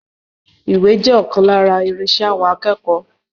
Ìwé jẹ́ ọkan lára irinṣẹ́ àwọn akẹ́kọ̀ọ́.